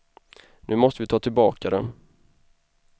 Nu måste vi ta tillbaka dem.